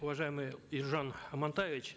уважаемый елжан амантаевич